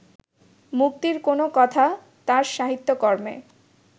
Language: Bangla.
মুক্তির কোনো কথা তাঁর সাহিত্যকর্মে